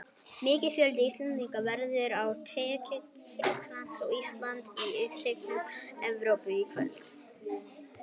Mikill fjöldi Íslendinga verður á leik Tékklands og Íslands í undankeppni Evrópumótsins í kvöld.